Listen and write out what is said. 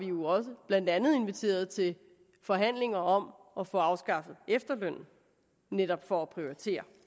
jo også blandt andet inviteret til forhandlinger om at få afskaffet efterlønnen netop for at prioritere